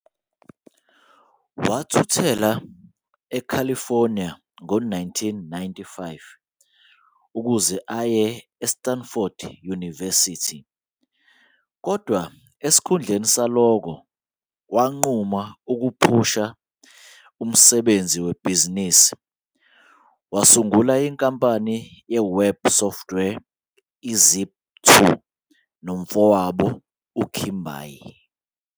Wathuthela eCalifornia ngo-1995 ukuze aye e-Stanford University kodwa esikhundleni salokho wanquma ukuphishekela umsebenzi webhizinisi, wasungula inkampani ye-web software i-Zip2 nomfowabo uKimbal.